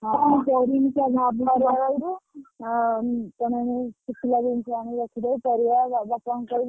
କଣ କରିମି ମୁ ସେଇଆ ଭାବିଲା ବେଳକୁ ଶୁଖିଲା ଜିନିଷ ଆଣି ରଖିଦବୁ ପରିବା ବାପାଙ୍କୁ କହିବୁ।